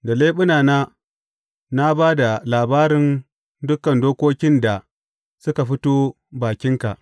Da leɓunana na ba da labarin dukan dokokin da suka fito bakinka.